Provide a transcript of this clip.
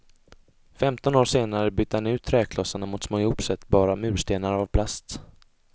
Femton år senare bytte han ut träklossarna ut mot små ihopsättbara murstenar av plast.